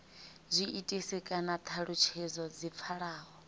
zwiitisi kana thalutshedzo dzi pfalaho